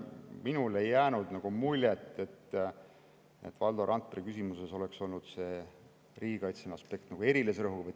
Minule ei jäänud muljet, et Valdo Randpere küsimuses oleks olnud see riigikaitseline aspekt nagu erilise rõhuga.